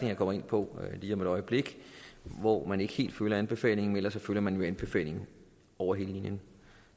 jeg kommer ind på lige om et øjeblik hvor man ikke helt følger anbefalingen men ellers følger man jo anbefalingerne over hele linjen